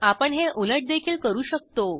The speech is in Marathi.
आपण हे उलट देखील करू शकतो